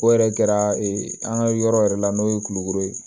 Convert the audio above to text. O yɛrɛ kɛra ee an ka yɔrɔ yɛrɛ la n'o ye kulukoro ye